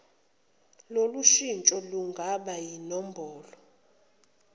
lolushintsho lungaba yinombholo